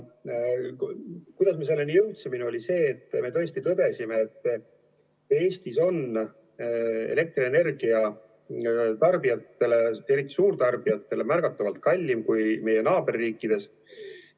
Kuidas me selleni jõudsime, oli see, et me tõesti tõdesime, et Eestis on elektrienergia tarbijatele, eriti suurtarbijatele märgatavalt kallim kui meie naaberriikides.